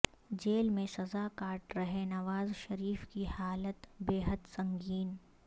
jail میں سزا کاٹ رہے نواز شریف کی حالت بے حد سنگین